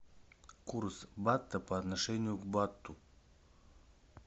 курс бата по отношению к бату